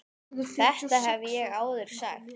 Þetta hef ég áður sagt.